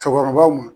Cɛkɔrɔbaw ma